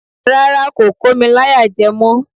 Rárá, kò kò mi láyàjẹ mọ́